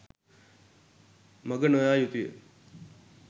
මඟ නො යා යුතු ය.